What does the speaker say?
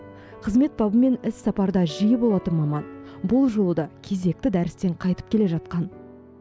қызмет бабымен іссапарда жиі болатын маман бұл жолы да кезекті дәрістен қайтып келе жатқан